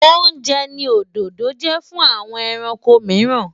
Oúnjẹ ni òdòdó jẹ́ fún àwọn kòkòrò mìíràn.